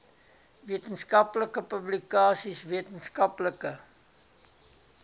wetenskaplike publikasies wetenskaplike